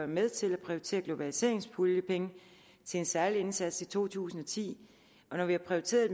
med til at prioritere nogle globaliseringspuljepenge til en særlig indsats i to tusind og ti men når vi har prioriteret